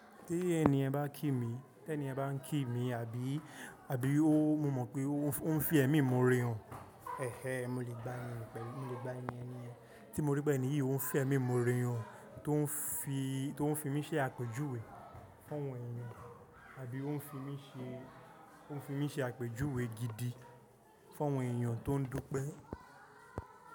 Tí ẹni ẹ bá ń kí mi, tí ẹni ẹ bá ń kí mi, àbí, àbí ó, mo mọ̀ pé ó ń fẹ́ ẹ̀mí mo re ọ̀n, ẹhẹ, mo lè gbá ẹ ni pẹ̀lú, mo lè gbá ẹ ni ẹni ẹ. Tí mo rí pé ẹni yìí ó ń fẹ́ ẹ̀mí mo re ọ̀n tó ń fi, tó ń fi mí ṣe àpèjúwe fún àwọn èèyàn, àbí ó ń fi mí ṣe, ó ń fi mí ṣe àpèjúwe gidi fún àwọn èèyàn tó ń dúpe.